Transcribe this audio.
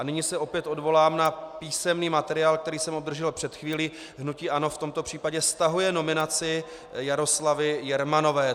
A nyní se opět odvolám na písemný materiál, který jsem obdržel před chvílí: hnutí ANO v tomto případě stahuje nominaci Jaroslavy Jermanové.